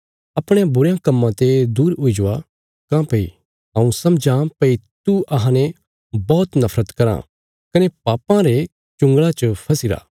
अपणयां बुरयां कम्मां ते दूर हुई जवा काँह्भई हऊँ समझां भई तू अहांने बौहत नफरत कराँ कने पापां रे चुँगल़ा च फसीरा